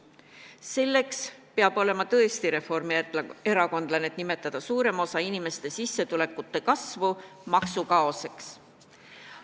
Selleks peab olema tõesti reformierakondlane, et nimetada suurema osa inimeste sissetulekute kasvu maksukaoseks.